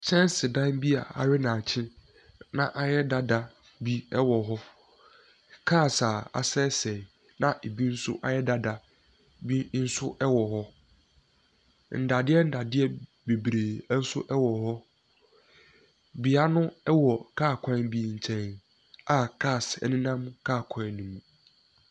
Nkyɛnsedan bi a awe nnadekye, na ayɛ dada bi wɔ hɔ. Cars a asɛesɛe na ɛbi nso ayɛ dada bi nso wɔ hɔ. Nnadeɛ nnadeɛ bebree nso wɔ hɔ. Bea no wɔ car kwan bi nkyɛn a cars nenam car kwan no mu.